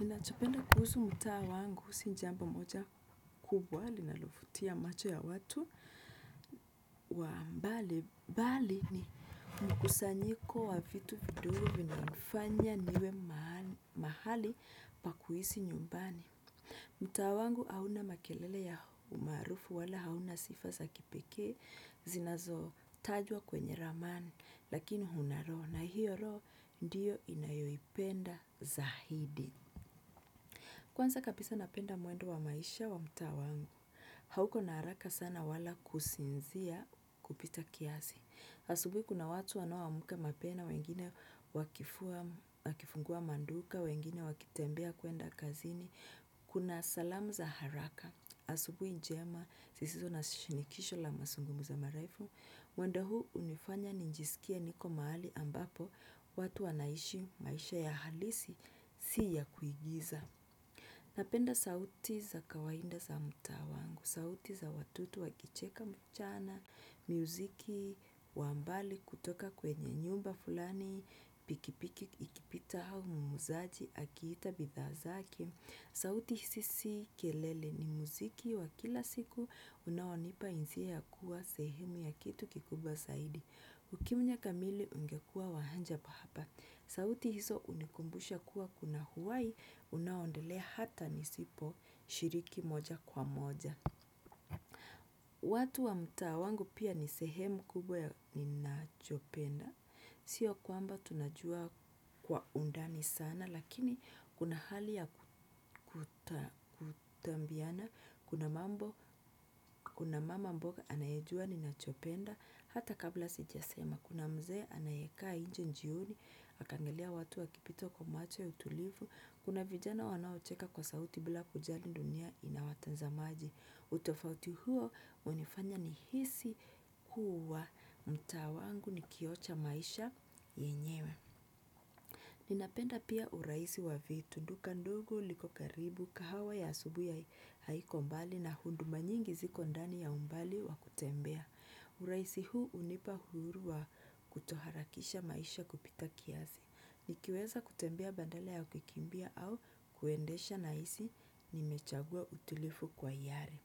Ninachopenda kuhusu mtaa wangu si jambo moja kubwa linalovutia macho ya watu wa mbali. Bali ni mkusanyiko wa vitu vidogo vinanifanya niwe mahali pakuhisi nyumbani. Mtaa wangu hauna makelele ya umarufu wala hauna sifa za kipekee zinazo tajwa kwenye ramani lakini huna roho na hiyo roho ndiyo inayoipenda zahidi. Kwanza kabisa napenda mwendo wa maisha wa mtaa wangu, hauko na haraka sana wala kusinzia kupita kiasi. Asubuhi kuna watu wanao amka mapema, wengine wakifungua maduka, wengine wakitembea kwenda kazini. Kuna salamu za haraka. Asubuhi njema, zisizo na shinikisho la mazungumzo marefu. Mwendo huu hunifanya nijisikie niko mahali ambapo watu wanaishi maisha ya halisi si ya kuigiza. Napenda sauti za kawaida za mtaa wangu, sauti za watoto wakicheka mchana, muziki wa mbali kutoka kwenye nyumba fulani, pikipiki ikipita au muuzaji, akiita bidhaa zake. Sauti sisi kelele ni muziki wa kila siku unaonipa hisia ya kuwa sehemu ya kitu kikubwa zaidi. Ukimya kamili ungekuwa wa haja pa hapa. Sauti hizo hunikumbusha kuwa kuna uhai unaoendelea hata nisiposhiriki moja kwa moja. Watu wa mtaa wangu pia ni sehemu kubwa ya ninachopenda. Sio kwamba tunajuana kwa undani sana, lakini kuna hali ya kutambiana, kuna mambo, kuna mama mboga anayejua ninachopenda hata kabla sijasema, kuna mzee anayekaa inje jioni akiangalia watu wakipita kwa macho ya utulivu, kuna vijana wanaocheka kwa sauti bila kujali dunia inawatazama aje. Utofauti huo hunifanya ni hisi kuwa mtaa wangu ni kioo cha maisha yenyewe. Ninapenda pia urahisi wa vitu. Duka ndogo liko karibu, kahawa ya asubuhi haiko mbali na huduma nyingi ziko ndani ya umbali wa kutembea. Urahisi huu hunipa uhuru wa kutoharakisha maisha kupita kiasi. Nikiweza kutembea badala ya kukimbia au kuendesha na hisi nimechagua utilivu kwa hiari.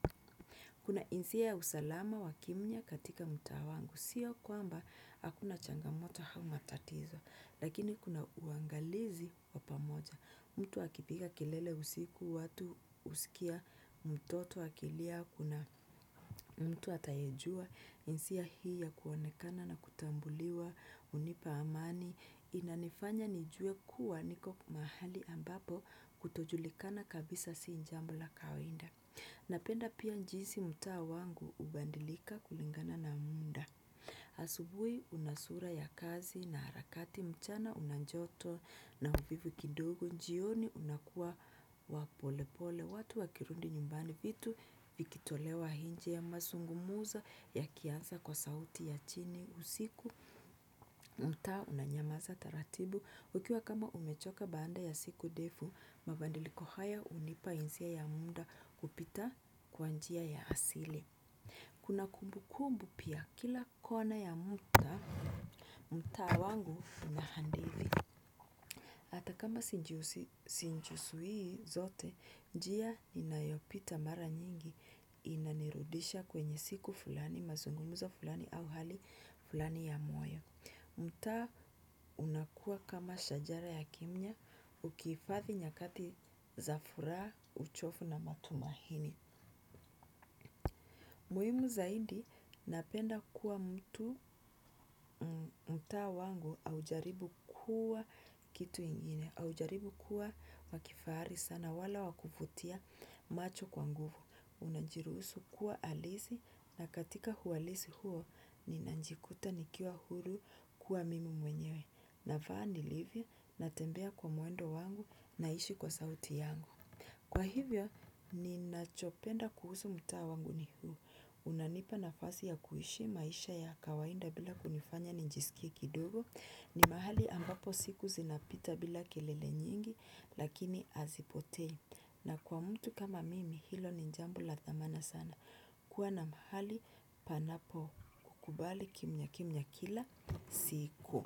Kuna hisia ya usalama wa kimya katika mtaa wangu, sio kwamba hakuna changamoto au matatizo, lakini kuna uangalizi wapamoja. Mtu akipiga kelele usiku watu husikia, mtoto akilia, kuna mtu ataejua, hisia hii ya kuonekana na kutambuliwa hunipa amani, inanifanya nijue kuwa niko mahali ambapo kutojulikana kabisa si jambo la kawaida. Napenda pia jinsi mtaa wangu hubadilika kulingana na muda. Asubuhi una sura ya kazi na harakati, mchana una joto na uvivu kidogo, jioni unakuwa wa polepole. Watu wakirudi nyumbani, vitu vikitolewa inje, mazungumzo yakianza kwa sauti ya chini usiku. Mtaa unanyamaza taratibu, ukiwa kama umechoka baada ya siku ndefu, mabadiliko haya hunipa hisia ya muda kupita kwa njia ya asili. Kuna kumbu kumbu pia kila kona ya mtaa, mtaa wangu unahadithi hata kama sijizui zote, njia ninayopita mara nyingi inanirudisha kwenye siku fulani, mazungumzo fulani au hali fulani ya moyo. Mtaa unakua kama shajara ya kimnya ukihifadhi nyakati za furaha, uchovu na matumaini. Muhimu zaidi napenda kuwa mtu, mtaa wangu haujaribu kuwa kitu ingine haujaribu kuwa wakifahari sana wala wakuvutia macho kwa nguvu. Unajiruhusu kuwa halisi na katika uhalisi huo ninajikuta nikiwa huru kuwa mimi mwenyewe. Na vaa nilivyo, natembea kwa mwendo wangu, naishi kwa sauti yangu. Kwa hivyo ni nachopenda kuhusu mtaa wangu ni huu. Unanipa nafasi ya kuishi maisha ya kawaida bila kunifanya nijisikie kidogo. Ni mahali ambapo siku zinapita bila kelele nyingi lakini hazipotei. Na kwa mtu kama mimi hilo ni jambo la thamana sana, kuwa na mahali panapo kukubali kimya kimya kila siku.